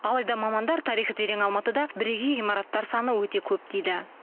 алайда мамандар тарихы терең алматыда бірегей ғимараттар саны өте көп дейді